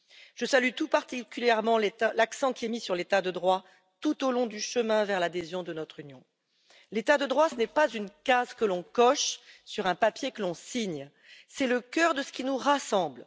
Je salue tout particulièrement l'accent qui est mis sur l'état de droit tout au long du chemin vers l'adhésion à notre Union. L'état de droit, ce n'est pas une case que l'on coche sur un papier que l'on signe, c'est le cœur de ce qui nous rassemble.